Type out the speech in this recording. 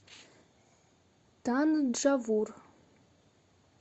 танджавур